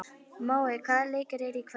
Mói, hvaða leikir eru í kvöld?